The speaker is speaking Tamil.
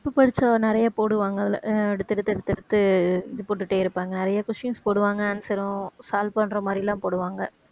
இப்ப கொஞ்சம் நிறைய போடுவாங்கல்ல அஹ் எடுத்து எடுத்து எடுத்து எடுத்து இது போட்டுட்டே இருப்பாங்க நிறைய questions போடுவாங்க answer உம் solve பண்ற மாதிரிலாம் போடுவாங்க